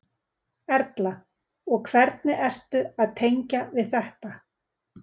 Erla: Og hvernig ertu að tengja við þetta?